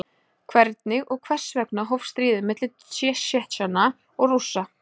Hvernig og hvers vegna hófst stríðið milli Tsjetsjena og Rússa?